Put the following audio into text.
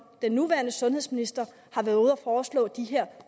den nuværende sundhedsminister har været ude at foreslå de her